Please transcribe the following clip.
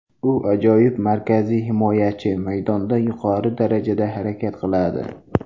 U ajoyib markaziy himoyachi, maydonda yuqori darajada harakat qiladi.